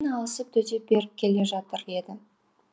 алысып төтеп беріп келе жатыр еді